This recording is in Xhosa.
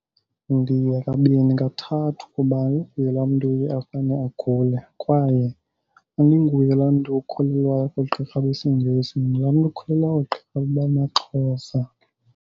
Ndiya kabini kathathu kuba andinguye laa mntu uye afane agule kwaye andinguye laa mntu okholelwayo oogqirha besiNgesi. Ndingulaa mntu okholelwa koogqirha bamaXhosa.